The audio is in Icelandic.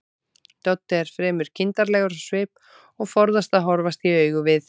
Doddi er fremur kindarlegur á svip og forðast að horfast í augu við